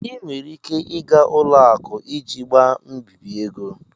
Ị nwere ike ịga ụlọakụ iji gbaa mbibi ego.